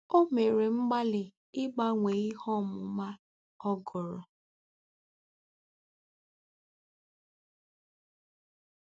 O mere mgbalị ịgbanwe ihe ọmụma ọ gụrụ.